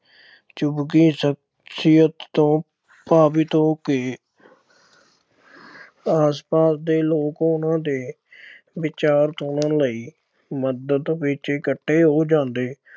ਸਖਸ਼ੀਅਤ ਤੋਂ ਪ੍ਰਭਾਵਿਤ ਹੋ ਕੇ ਆਸ-ਪਾਸ ਦੇ ਲੋਕ ਉਨ੍ਹਾਂ ਦੇ ਵਿਚਾਰ ਸੁਣਨ ਲਈ ਮੰਦਰ ਵਿੱਚ ਇਕੱਠੇ ਹੋ ਜਾਂਦੇ।